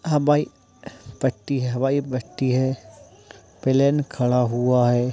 हवाई पट्टी हवाई पट्टी है। प्लेन खड़ा हुआ है।